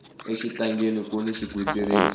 exitangeni kuni xigwitsirisi